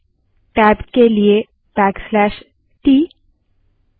इसके लिए लिनक्स में हमें –e option का प्रयोग करना होगा